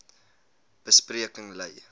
be spreking lei